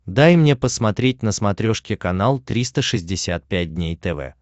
дай мне посмотреть на смотрешке канал триста шестьдесят пять дней тв